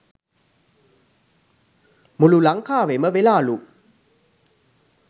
මුලු ලංකාවෙම වෙලාලු